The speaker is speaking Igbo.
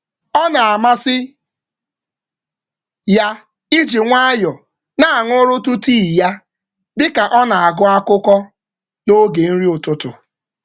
Ọ na-enwe mmasị ịṅụ tii nwayọọ ka ọ na-agụ na-agụ akụkọ ụtụtụ n’oge nri ya.